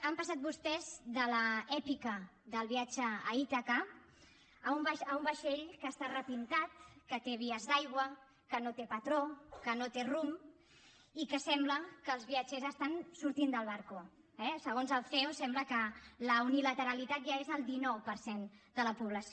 han passat vostès de l’èpica del viatge a ítaca a un vaixell que està repintat que té vies d’aigua que no té patró que no té rumb i que sembla que els viatgers estan sortint del barco eh segons el ceo sembla que la unilateralitat ja és el dinou per cent de la població